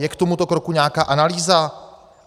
Je k tomuto kroku nějaká analýza?